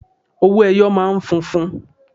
Owó ẹyọ máa ń funfun.